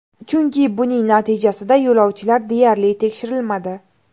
Chunki buning natijasida yo‘lovchilar deyarli tekshirilmadi.